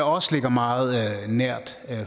også ligger meget nært